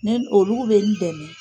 Ni olugu bɛ n dɛmɛn.